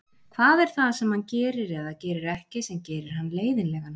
Hvað er það sem hann gerir eða gerir ekki sem gerir hann leiðinlegan?